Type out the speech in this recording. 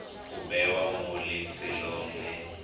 go bewa mo lefelong le